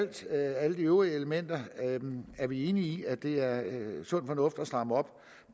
til alle de øvrige elementer er vi enige i at det er sund fornuft at stramme op